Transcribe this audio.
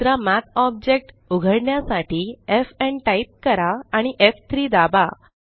दुसरा मठ ऑब्जेक्ट उघडण्यासाठी एफएन टाइप करा आणि एफ3 दाबा